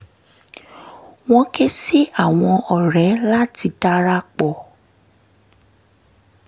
wọ́n ké sí àwọn ọ̀rẹ́ láti dara pọ̀